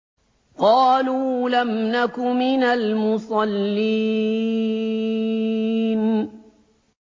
قَالُوا لَمْ نَكُ مِنَ الْمُصَلِّينَ